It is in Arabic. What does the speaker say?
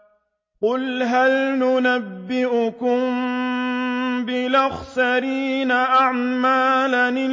قُلْ هَلْ نُنَبِّئُكُم بِالْأَخْسَرِينَ أَعْمَالًا